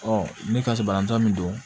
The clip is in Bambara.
ne ka sebaatɔ min don